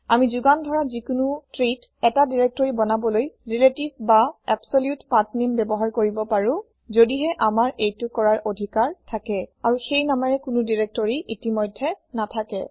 আমি যুগান ধৰা যিকোনো treeত ১টা দিৰেক্তৰি বনাবলৈ ৰিলেতিভ বা এব্চল্যুত পাথনেম ব্যৱহাৰ কৰিব পাৰে যদিহে আমাৰ এইটো কৰাৰ আধিকাৰ থাকে আৰু সেই নামেৰে কোনো দিৰেক্তৰি ইতিমধ্যে নাথাকে